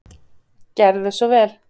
Gerðu svo vel.